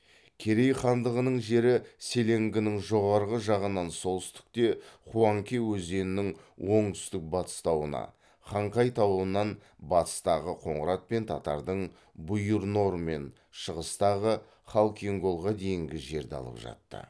керей хандығының жері селенгінің жоғарғы жағынан солтүстікте хуанке өзенінің оңтүстік батыс тауына хангай тауынан батыстағы қоңырат пен татардың бұйыр нор мен шығыстағы халкин голға дейінгі жерді алып жатты